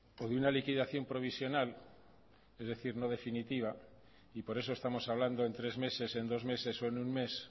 o de una liquidación provisional es decir no definitiva y por eso estamos hablando en tres meses en dos meses o en un mes